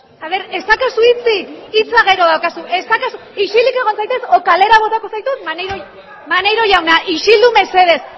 a ver ez daukazu hitzik hitza gero daukazu ez daukazu isilik egon zaitez edo kalera botatuko zaitut maneiro jauna maneiro jauna isildu mesedez